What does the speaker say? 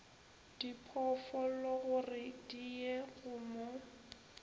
diphoofologore di ye go mo